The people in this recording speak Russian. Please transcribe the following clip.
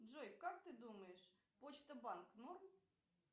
джой как ты думаешь почта банк норм